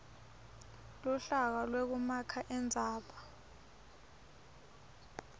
luhlaka lwekumakha indzaba